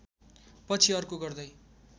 पछि अर्को गर्दै